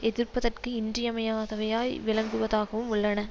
எதிப்பதற்கு இன்றியமையதவையாய் விளங்குவதாகவும் உள்ளன